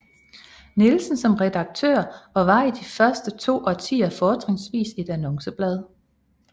Nielsen som redaktør og var i de første to årtier fortrinvist et annonceblad